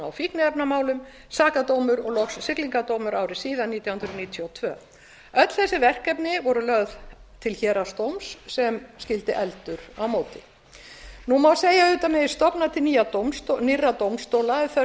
fíkniefnamálum sakadómur og loks siglingadómur ári síðar nítján hundruð níutíu og tvö öll þessi verkefni voru lögð til héraðsdóms sem skyldi efldur á móti nú má segja að auðvitað megi stofna til nýrra dómstóla ef þörf